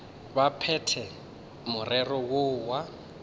ba phethe morero woo wa